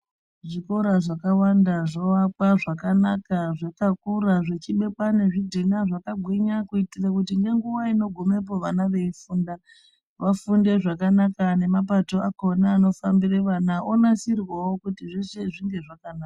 Zvikora zvakawanda zvavakwa zvakanaka zvakakura zvichibekwa nezvidhina zvakagwinya kuitira kuti nenguva inogumepo vana veifunda vafunde zvakanaka nemapato akhona anofambira vana anosirwawo kuti zveshe zvinge zvakanaka.